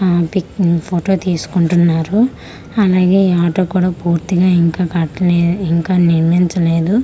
ఆ పిక్ని ఫోటో తీసుకుంటున్నారు అలాగే ఆటో కుడ పూర్తిగా ఇంకా కట్టలే ఇంకా నిర్మించలేదు సగం.